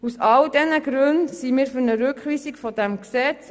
Aus all diesen Gründen sind wir für eine Rückweisung des Gesetzes.